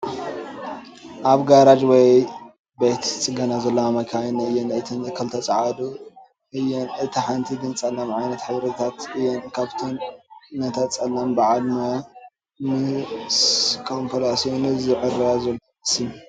ኣብ ጋራጅ ወይ ቤተ ፅገና ዘለዋ መኻይን እየን እተን ክልተ ፃዓዱ እየን እታ ሓንቲ ግን ፀላም ዓይነተ ሕብርታት እየ ን ካብኣተን ነታ ፃላም በዓል ሞያ ምድ ኮምፕላሴኑ ዘዐርያ ዘሎ ይመስል ።